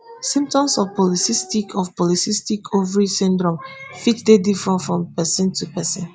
symptoms of polycystic of polycystic ovary syndrome fit dey different from pesin to pesin